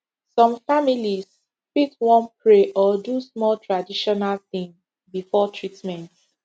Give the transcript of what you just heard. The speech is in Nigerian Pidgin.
some families fit wan pray or do small traditional thing before treatment